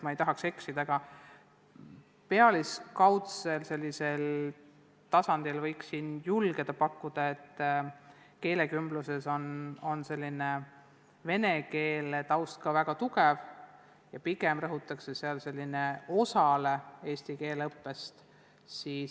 Ma ei tahaks eksida, aga sellisel esmatasandil julgen kinnitada, et keelekümbluses on venekeelne taust väga tugev ja pigem rõhutakse seal ühele osale eesti keele õppest.